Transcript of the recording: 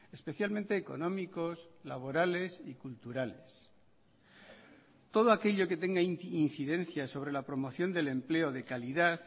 especialmente económicos laborales y culturales todo aquello que tenga incidencia sobre la promoción del empleo de calidad